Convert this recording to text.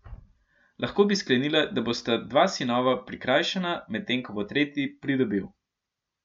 Lahko bi sklenila, da bosta dva sinova prikrajšana, medtem ko bo tretji pridobil.